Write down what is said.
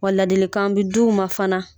Wa ladilikan bi d'u ma fana